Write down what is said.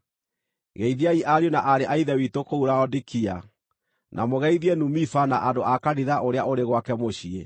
Geithiai ariũ na aarĩ a Ithe witũ kũu Laodikia, na mũgeithie Numifa na andũ a kanitha ũrĩa ũrĩ gwake mũciĩ.